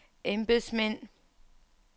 embedsmænd